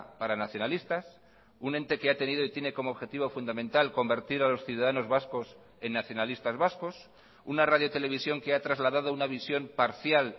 para nacionalistas un ente que ha tenido y tiene como objetivo fundamental convertir a los ciudadanos vascos en nacionalistas vascos una radio televisión que ha trasladado una visión parcial